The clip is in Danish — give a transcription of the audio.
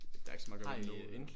Der er ikke så meget at gøre ved det nu